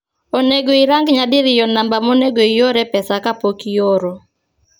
onego irang nyadirio namba monego iore pesa kapok ioro